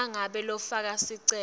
nangabe lofake sicelo